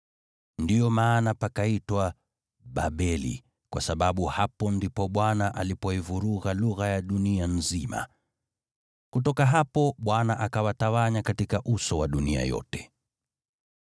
Ndiyo maana pakaitwa Babeli, kwa sababu hapo ndipo Bwana alipoivuruga lugha ya dunia nzima. Kutoka hapo Bwana akawatawanya katika uso wa dunia yote.